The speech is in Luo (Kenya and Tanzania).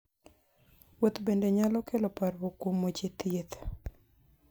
Wuoth bende nyalo kelo parruok kuom weche thieth.